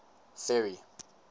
ferry